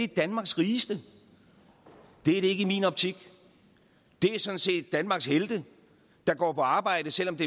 danmarks rigeste det er det ikke i min optik det er sådan set danmarks helte der går på arbejde selv om